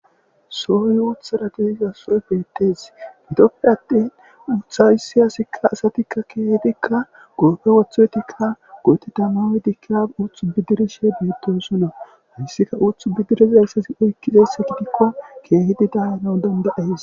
sohoy uuthara diziza sooy beettees gitoppe attin uutha hayssi aasikka asatikka keehfikka goofe wothoytikka gooti tamaoydikia uthu bidirishe beettosonna hayssika uthu bidirizayssesi oykkizese gidikko keehidi daano danda7ees